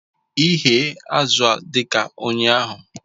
Ighe azụ dị ka ụnyaahụ